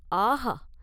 ஆகா!